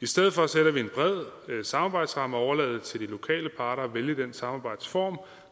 i stedet for sætter vi en bred samarbejdsramme og overlader det til lokale parter at vælge den samarbejdsform